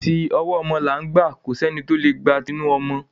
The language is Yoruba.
Ti ọwọ́ ọmọ là ń gbà, kò sẹ́ni tí o lè gba tinu ọmọ.